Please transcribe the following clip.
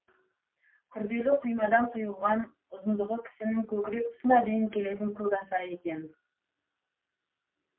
күрделі құймадан құйылған ұзындығы кісінің көкірек тұсына дейін келетін көк аса екен